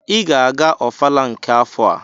Ị ga-aga ọfala nke afọ a!